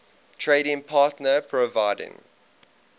trading partner providing